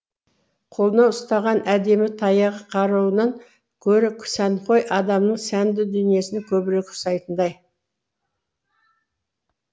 қолына ұстаған әдемі таяғы қаруынан гөрі сәнқой адамның сәнді дүниесіне көбірек ұқсайтындай